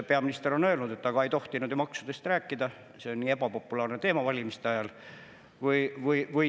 Peaminister on öelnud, et aga ei tohtinud ju maksudest rääkida, see on nii ebapopulaarne teema valimiste ajal.